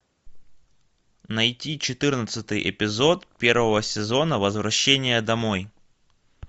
найти четырнадцатый эпизод первого сезона возвращение домой